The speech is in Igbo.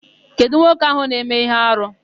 Kedụ nwoke áhụ̀ na-eme íhé arụ?